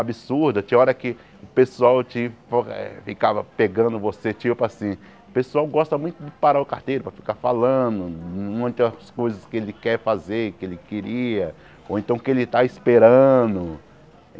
absurda, tinha hora que o pessoal te eh ficava pegando você, tipo assim, o pessoal gosta muito de parar o carteiro para ficar falando, muitas coisas que ele quer fazer, que ele queria, ou então que ele tá esperando.